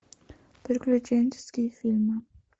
приключенческие фильмы